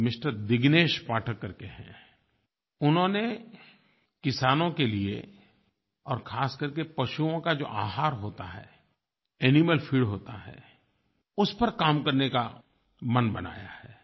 कोई मिस्टर दिग्नेश पाठक करके हैं उन्होंने किसानों के लिए और ख़ास करके पशुओं का जो आहार होता है एनिमल फीड होता है उस पर काम करने का मन बनाया है